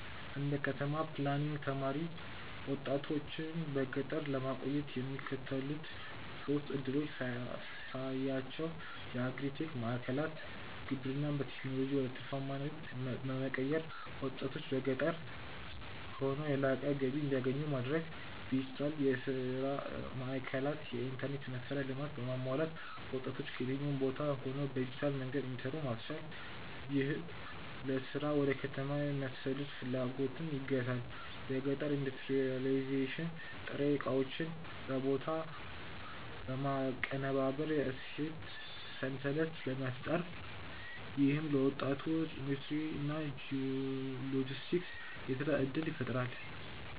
እንደ ከተማ ፕላኒንግ ተማሪ፣ ወጣቶችን በገጠር ለማቆየት የሚከተሉትን ሶስት ዕድሎች ሳያቸው የአግሪ-ቴክ ማዕከላት: ግብርናን በቴክኖሎጂ ወደ ትርፋማ ንግድ በመቀየር፣ ወጣቶች በገጠር ሆነው የላቀ ገቢ እንዲያገኙ ማድረግ። ዲጂታል የሥራ ማዕከላት: የኢንተርኔት መሠረተ ልማት በማሟላት ወጣቶች ከየትኛውም ቦታ ሆነው በዲጂታል መንገድ እንዲሰሩ ማስቻል፣ ይህም ለሥራ ወደ ከተማ የመሰደድ ፍላጎትን ይገታል። የገጠር ኢንዱስትሪያላይዜሽን: ጥሬ ዕቃዎችን በቦታው በማቀነባበር የእሴት ሰንሰለት መፍጠር። ይህም ለወጣቶች የኢንዱስትሪ እና የሎጂስቲክስ የሥራ ዕድል ይፈጥራል።